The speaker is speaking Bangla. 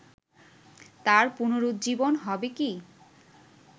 তার পুনরুজ্জীবন হবে কি